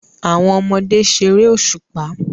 Àwọn ọmọdé ṣeré òṣùpá.